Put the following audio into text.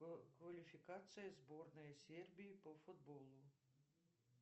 квалификация сборной сербии по футболу